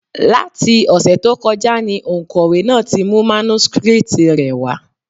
Láti ọ̀sẹ̀ tó kọjá ni òǹkọ̀wé náà ti mú mánúskrítì rẹ̀ wá.